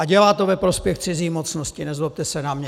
A dělá to ve prospěch cizí mocnosti, nezlobte se na mě.